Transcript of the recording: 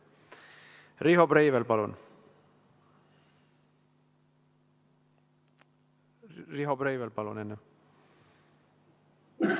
Riho Breivel, palun!